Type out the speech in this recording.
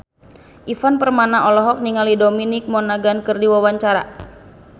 Ivan Permana olohok ningali Dominic Monaghan keur diwawancara